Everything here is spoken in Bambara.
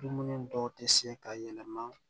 Dumuni dɔw tɛ se ka yɛlɛma